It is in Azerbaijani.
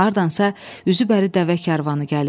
Hardansa üzü bəri dəvə karvanı gəlirdi.